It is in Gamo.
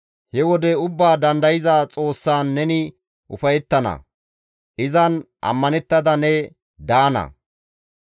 He wode Ubbaa Dandayza Xoossaan neni ufayettana; izan ammanettada ne daana.